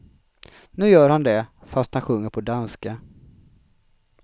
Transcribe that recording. Nu gör han det, fast han sjunger på danska.